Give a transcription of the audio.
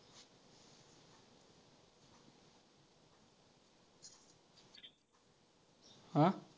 अं